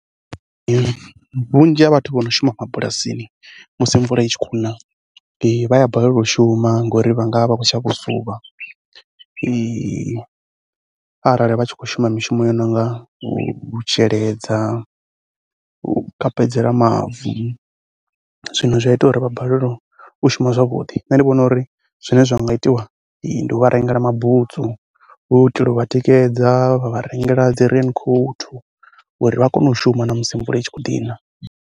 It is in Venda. Vhunzhi ha vhathu vho no shuma mabulasini musi mvula i tshi khou na vha a balelwa u shuma ngori vha nga vha vha khou tshavha u suvha arali vha tshi khou shuma mishumo yo no nga u sheledza, u kapedzela mavu. Zwino zwi a ita uri vha balelwe u shuma zwavhuḓi, nṋe ndi vhona uri zwine zwa nga itiwa ndi u vha rengela mabutsu hu u itela u vha tikedza, vha vha rengela dzi rain coat uri vha kone u shuma na musi mvula i tshi kho ḓi na.